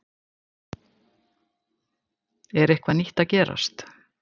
En er eitthvað nýtt að gerast?